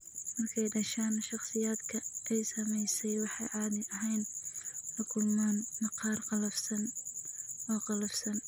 Markay dhashaan, shakhsiyaadka ay saamaysay waxay caadi ahaan la kulmaan maqaar qallafsan oo qallafsan.